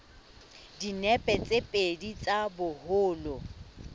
dinepe tse pedi tsa boholo